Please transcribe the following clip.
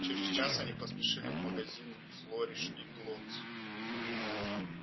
через час они поспешили в магазин флориш и блоттс